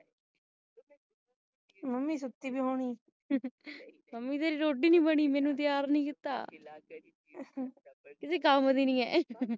mummy ਸੁਤੀ ਪਈ ਹੋਣੀ ਤੇਰੀ ਰੋਟੀ ਨਹੀਂ ਬਈ ਮੈਨੂੰ ਤੀਆਰ ਨਹੀਂ ਕੀਤਾ ਕਿਸੇ ਕੰਮ ਦੀ ਨਹੀਂ ਹੈ